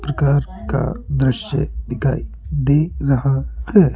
प्रकार का दृश्य दिखाई दे रहा है।